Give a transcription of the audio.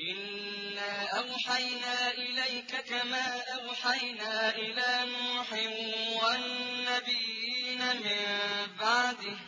۞ إِنَّا أَوْحَيْنَا إِلَيْكَ كَمَا أَوْحَيْنَا إِلَىٰ نُوحٍ وَالنَّبِيِّينَ مِن بَعْدِهِ ۚ